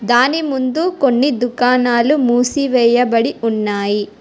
దాని ముందు కొన్ని దుకాణాలు మూసి వేయబడి ఉన్నాయి.